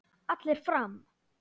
Allir fram!